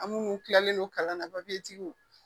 An minnu tilalen don kalan na